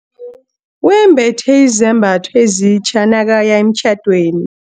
Wembethe izambatho ezitja nakaya emtjhadweni.